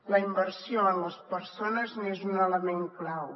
la inversió en les persones n’és un element clau